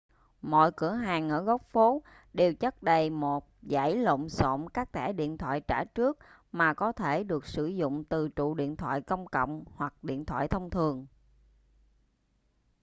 mọi cửa hàng ở góc phố đều chất đầy một dãy lộn xộn các thẻ điện thoại trả trước mà có thể được sử dụng từ trụ điện thoại công cộng hoặc điện thoại thông thường